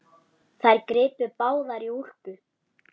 Þær gripu báðar í úlpu